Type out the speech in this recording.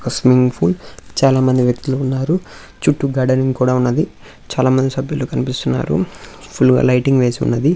ఒక swimming pool చాలా మంది వ్యక్తులు ఉన్నారు చుట్టూ గార్డెన్ కూడా ఉన్నది చాలా మంది సబ్యులు కనిపిస్తున్నారు ఫుల్ లైటింగ్ వేసి ఉన్నది.